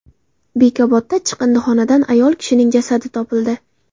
Bekobodda chiqindixonadan ayol kishining jasadi topildi.